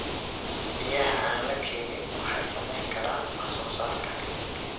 Biyaha aan la keenin waxay saameyn karaan wax soo saarka.